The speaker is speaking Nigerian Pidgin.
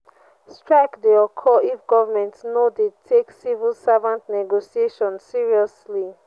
strike de occur if government no de take civil servants negotiation seriously